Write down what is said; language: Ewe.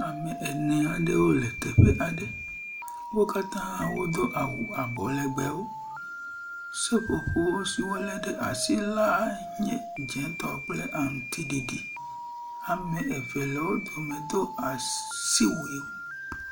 ame ene aɖewo le teƒe aɖe wodó awu abɔlegbewo seƒoƒo si wóle ɖe asi la nye dzētɔ kple aŋutsiɖiɖi ame eve le wó dome dó asiwuiwo